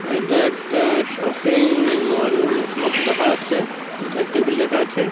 এটা একটা shopping mall মতো দেখা যাচ্ছে একটা টেবিল রাখা আছে।